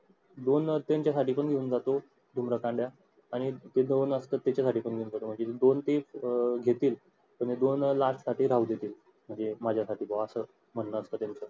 दोन त्यांच्यासाठी पण घेऊन जातो धूम्रकांड्या आणि ते दोन असतात त्याच्यासाठी पण घेऊन जातो म्हणजे दोन ते घेतील आणि दोन last साठी राहून देतील म्हणजे एक माझ्यासाठी किंवा एक असं म्हणार